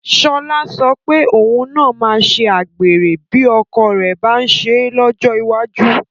Sọlá sọ pé òun náà máa ṣe àgbèrè bí ọkọ rẹ̀ bá ń ṣe é lọ́jọ́ iwájú